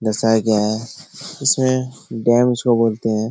दर्शाया गया है इसमें डैम इसको बोलते है।